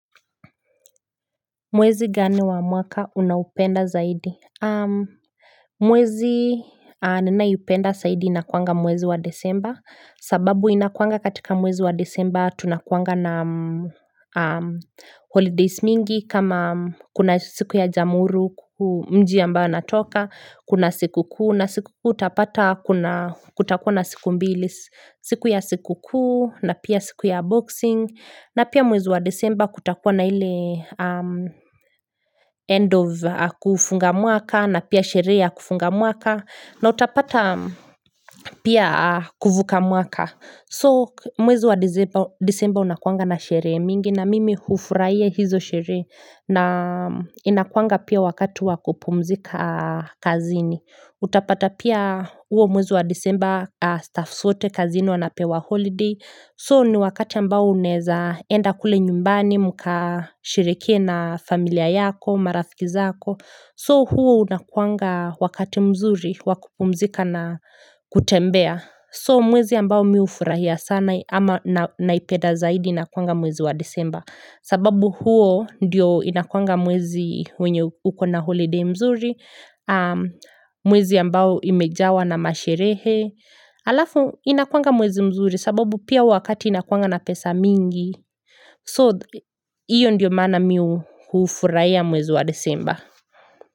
Mwezi gani wa mwaka unaupenda zaidi Mwezi ninaipenda zaidi inakuanga mwezi wa Disemba sababu inakuanga katika mwezi wa Disemba tunakuanga na holidays mingi kama kuna siku ya jamuru mji ambayo natoka kuna siku kuu na siku kuu utapata kuna kutakuwa na siku mbili siku ya siku kuu na pia siku ya boxing na pia mwezi wa Disemba kutakuwa na hile End of kufunga mwaka na pia sherehe ya kufunga mwaka na utapata pia kuvuka mwaka. So mwezi wa disemba unakuanga na sherehe mingi na mimi hufurahia hizo sherehe na inakuanga pia wakati wakupumzika kazini. Utapata pia huo mwezi wa disemba staffs wote kazini wanapewa holiday. So ni wakati ambao unaeza enda kule nyumbani mka sherekee na familia yako, marafiki zako. So huo unakuanga wakati mzuri wa kupumzika na kutembea. So mwezi ambao mi hufurahia sana ama naipeda zaidi inakuanga mwezi wa Disemba. Sababu huo ndio inakuanga mwezi wenye uko na holiday mzuri. Mwezi ambao imejawa na masherehe. Alafu inakuanga mwezi mzuri sababu pia wakati inakwanga na pesa mingi So, hiyo ndiyo maana mi hufuraia mwezi wa disemba.